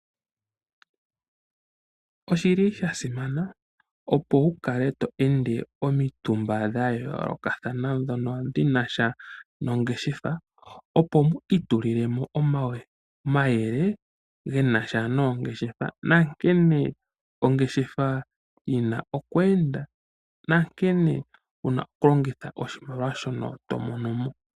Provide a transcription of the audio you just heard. Oshi li sha simana, opo wu kale to ende omitumba dha yoolokathana ndhono dhi na sha nongeshefa, opo mu itulile mo omayele ge na sha noongeshefa nankene ongeshefa yi na okweenda nankene wu na okulongitha oshimaliwa shono to mono mo.